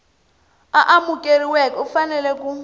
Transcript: a amukeriweke u fanele ku